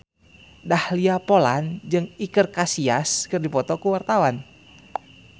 Dahlia Poland jeung Iker Casillas keur dipoto ku wartawan